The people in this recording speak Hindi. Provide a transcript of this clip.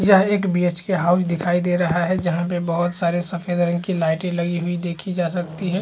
यह एक बी.एच.के हाउस दिखाई दे रहा है जहाँ पे बहोत सारे सफ़ेद रंग की लाइटे लगी हुई देखी जा सकती है।